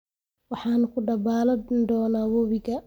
Waxaan ku dabalani ​​doonaa webiga